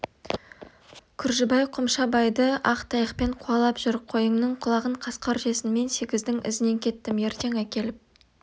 күржібай қомшабайды ақ таяқпен қуалап жүр қойыңның құлағын қасқыр жесін мен сегіздің ізінен кеттім ертең әкеліп